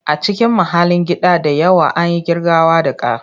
A cikin mahallin gida da yawa, an yi ƙirgawa da ka.